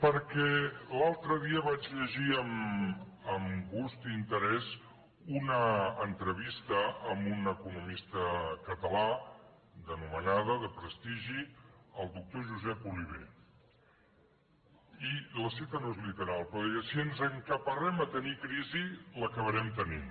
perquè l’altre dia vaig llegir amb gust i interès una entrevista amb un economista català d’anomenada de prestigi el doctor josep oliver i la cita no és literal però deia si ens encaparrem a tenir crisi l’acabarem tenint